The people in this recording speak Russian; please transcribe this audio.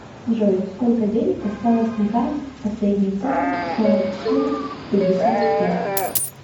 джой сколько денег осталось на карте последние цифры сорок четыре пятьдесят пять